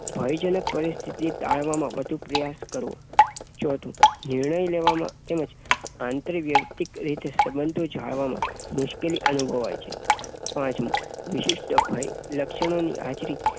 ભયજનક પરિસ્થિતિ ટાળવાનો વધુ પ્રયાસ કરવો. ચોથું નિર્ણય લેવામાં તેમજ આંતરવૈયક્તિક સંબંધો જાળવવામાં મુશ્કેલી અનુભવાય. પાંચમું વિશિષ્ટ ભય લક્ષણોની હાજરી